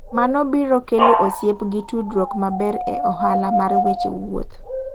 Mano biro kelo osiep gi tudruok maber e ohala mar weche wuoth.